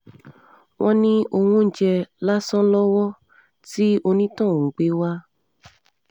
wọ́n ní owó oúnjẹ lásán lọ́wọ́ tí onítọ̀hún gbé wá